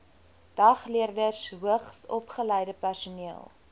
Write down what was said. dagleerders hoogsopgeleide personeel